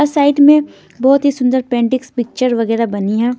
Side में बहुत ही सुंदर पेंडिक्स पिक्चर वगैरह बनी है।